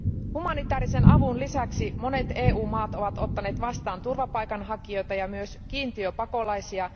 Humanitaarisen avun lisäksi monet EU maat ovat ottaneet vastaan turvapaikanhakijoita ja myös kiintiöpakolaisia.